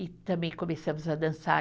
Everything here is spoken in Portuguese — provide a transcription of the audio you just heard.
E também começamos a dançar.